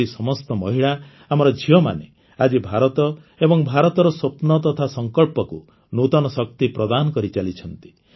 ଏହିପରି ସମସ୍ତ ମହିଳା ଆମର ଝିଅମାନେ ଆଜି ଭାରତ ଏବଂ ଭାରତର ସ୍ୱପ୍ନ ତଥା ସଂକଳ୍ପକୁ ନୂତନ ଶକ୍ତି ପ୍ରଦାନ କରିଚାଲିଛନ୍ତି